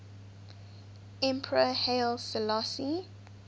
emperor haile selassie